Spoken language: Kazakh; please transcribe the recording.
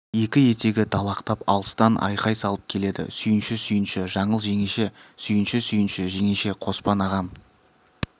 екі етегі далақтап алыстан айқай салып келеді сүйінші сүйінші жаңыл жеңеше сүйінші сүйінші жеңеше қоспан ағам